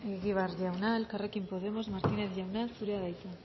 egibar jauna elkarrekin podemos martínez jauna zurea da hitza